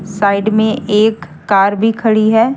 Side में एक car भी खड़ी है।